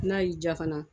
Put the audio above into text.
N'a y'i diya fana